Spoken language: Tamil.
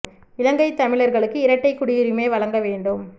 இலங்கை தமிழர்களுக்கு இரட்டை குடியுரிமை வழங்க வேண்டும்